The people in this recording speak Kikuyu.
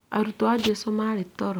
Arutwo a jesũ marĩtoro